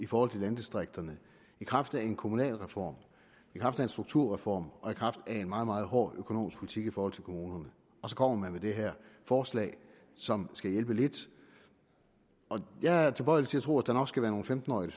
for landdistrikterne i kraft af en kommunalreform i kraft af en strukturreform og i kraft af en meget meget hård økonomisk politik i forhold til kommunerne og så kommer man med det her forslag som skal hjælpe lidt jeg er tilbøjelig til at tro at der nok skal være nogle femten årige